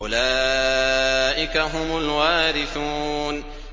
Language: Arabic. أُولَٰئِكَ هُمُ الْوَارِثُونَ